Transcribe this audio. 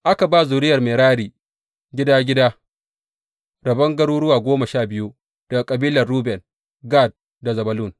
Aka ba zuriyar Merari, gida gida, rabon garuruwa goma sha biyu daga kabilan Ruben, Gad da Zebulun.